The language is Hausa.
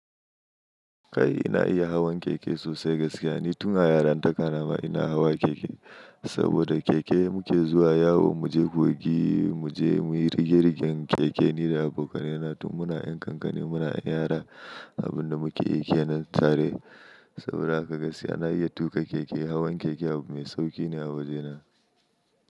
Kai ina iya hawan keke sosai gaskiya. Ni tun a yara ta kanama ina hawa keke. Saboda keke muke zuwa yawo, mu je kogi, mu je muyi rigingigen keke nina abokanai na tun muna 'yan kankane muna 'yan yara. Abin da muke yike nan tare. Saboda haka gaskiya na iya tuƙa keke. Hawan keke abu mai sauƙi ne a wajena.